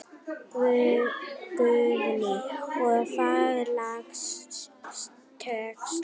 Guðný: Og hvaða lag tókstu?